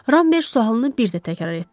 Rambert sualını bir də təkrar etdi.